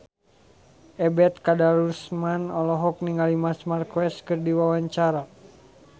Ebet Kadarusman olohok ningali Marc Marquez keur diwawancara